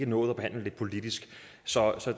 nået at behandle det politisk så